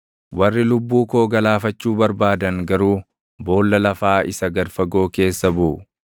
Warri lubbuu koo galaafachuu barbaadan garuu boolla lafaa isa gad fagoo keessa buʼu.